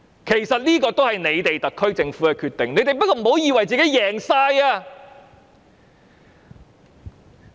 其實，這也是特區政府的決定，但不要以為大獲全勝。